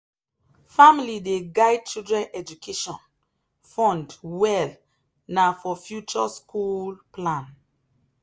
family dey guide children education fund well na for future school plan.